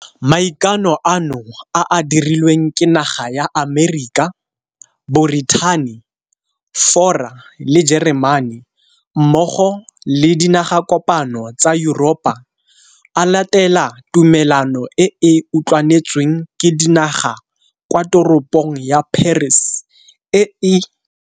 Maikano ano a a dirilweng ke naga ya Amerika, Borithane, Fora le Jeremane mmogo le Dinagakopano tsa Yuropa a latela Tumelano e e Utlwanetsweng ke Dinaga kwa Teropong ya Paris, e e.